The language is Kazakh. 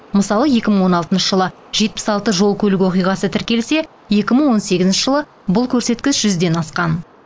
мысалы екі мың он алтыншы жылы жетпіс алты жол көлік оқиғасы тіркелсе екі мың он сегізінші жылы бұл көрсеткіш жүзден асқан